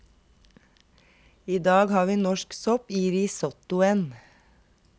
I dag har vi norsk sopp i risottoen.